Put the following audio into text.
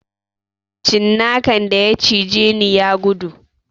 Cinnakan da ya cijeni ya gudu